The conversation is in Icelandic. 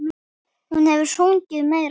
Hún hefur sungið meira.